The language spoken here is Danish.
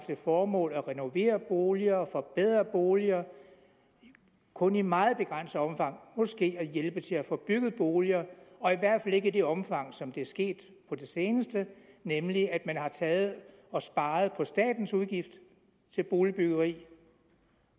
det formål at renovere boliger forbedre boliger og kun i meget begrænset omfang måske at hjælpe til at få bygget boliger og i hvert fald ikke i det omfang som det er sket på det seneste nemlig at man har taget og sparet på statens udgift til boligbyggeri